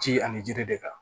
Ji ani jiri de kan